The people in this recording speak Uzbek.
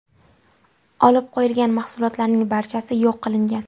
Olib qo‘yilgan mahsulotlarning barchasi yo‘q qilingan.